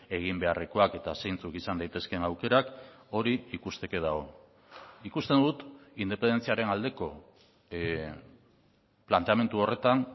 egin beharrekoak eta zeintzuk izan daitezkeen aukerak hori ikusteke dago ikusten dut independentziaren aldeko planteamendu horretan